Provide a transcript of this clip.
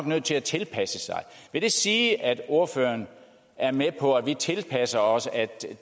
nødt til at tilpasse sig vil det sige at ordføreren er med på at vi tilpasser os at